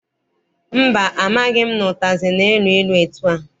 Mba, amaghị m na ụtazị na-elu ilu etua.